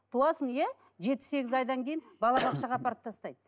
туасың иә жеті сегіз айдан кейін балабақшаға апарып тастайды